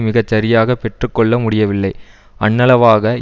மிக சரியாக பெற்று கொள்ள முடியவில்லை அண்ணளவாக